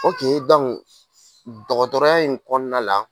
dɔgɔtɔrɔya in kɔnɔna la